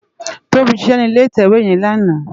Tobi ṣiṣè ni ilé itèwé yèn làná